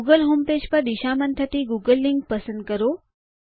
Google homepage પર દિશામાન થતી ગૂગલ લીંક પસંદ કરો